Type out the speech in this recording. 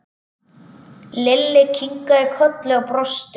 Lalli kinkaði kolli og brosti.